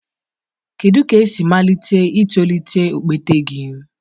Kedu ka esi malite itolite okpete gị?